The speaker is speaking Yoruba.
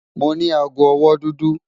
Mo ní àágọ̀-ọwọ́ dúdú.